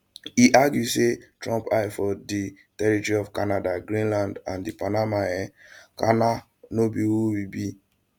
e argue say trump eye for di territory of canada greenland and di panama um canal no be who we be